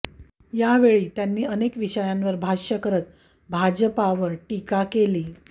यावळी त्यांनी अनेक विषयांवर भाष्य करत भाजपवर टीका केली